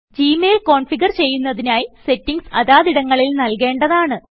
G mail configure ചെയ്യുന്നതിനായി ഈ settings അതാതിടങ്ങളിൽ നല്കേണ്ടതാണ്